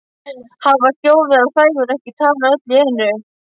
Hafa hljóð- vera þægur- ekki tala öll í einu